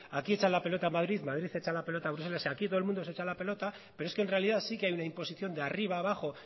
aquí echa la pelota a madrid madrid echa la pelota a bruselas aquí todo el mundo se echa la pelota pero es que en realidad sí que hay una imposición de arriba abajo